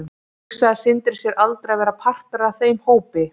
Hugsaði Sindri sér aldrei að vera partur af þeim hópi?